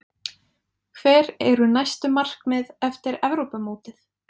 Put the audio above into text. Hver eru næstu markmið eftir Evrópumótið?